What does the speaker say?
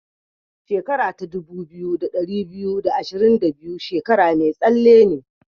Shekara dubu biyu da ɗari biyu da ashirin da biyu shekara mai tsalle ne.